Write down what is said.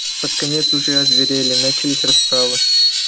под конец уже озверели начались расправы